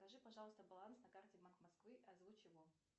покажи пожалуйста баланс на карте мак москвы озвучь его